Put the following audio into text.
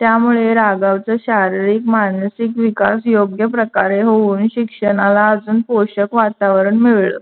त्यामुळे राघवच शारारीक मानसिक विकास योग्य प्रकारे होऊन शिक्षणाला अजून पोशाक वातावरण मिळाल.